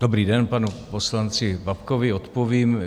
Dobrý den, panu poslanci Babkovi odpovím.